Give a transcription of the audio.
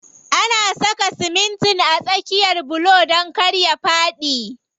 Ana saka simitin a tsakiyan bulo don kar ya faɗi.